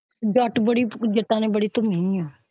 ਜੱਟ ਬੜੀ ਜੱਟਾ ਨੇ ਬੜੀ ਧੂਮੀ ਹੈ।